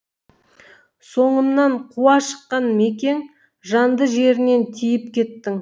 соңымнан қуа шыққан мекең жанды жерінен тиіп кеттің